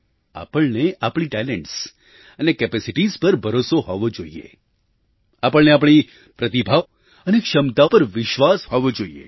આપણને આપણી ટેલન્ટ્સ અને કેપેસિટિઝ પર ભરોસો હોવો જોઈએ આપણને આપણી પ્રતિભા અને ક્ષમતા પર વિશ્વાસ હોવો જોઈએ